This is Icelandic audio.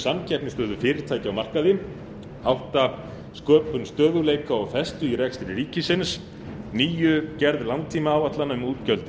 samkeppnisstöðu fyrirtækja á markaði áttunda sköpun stöðugleika og festu í rekstri ríkisins níundi gerð langtímaáætlana um útgjöld